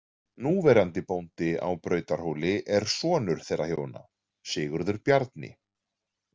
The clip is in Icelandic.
Núverandi bóndi á Brautarhóli er sonur þeirra hjóna, Sigurður Bjarni.